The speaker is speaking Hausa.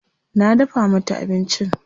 Na dafa mata abincin.